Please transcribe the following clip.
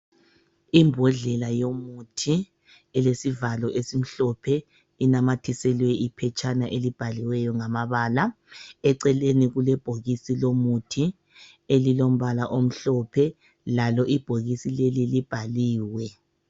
Imbodlela yomuthi elesivalo esimhlophe inamathiselwe iphetshana elibhaliweyo ngamabala. Eceleni kulebhokisi lomuthi elilombala omhlophe lalo ibhokisi leli libhaliwe.